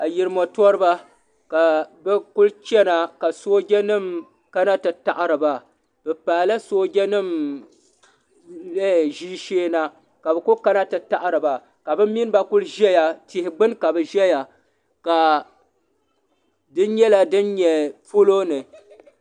ayirimo toriba ka bɛ kuli chena ka sooja nima kana ti taɣari ba bɛ paagi la sooja nima ʒeeshee na ka bɛ kulli kana ti taɣiti ba ka bɛ mini ba kuli ʒɛya tihi gbini ka bɛ ʒɛya ka di nyɛla din nyɛ polo ni.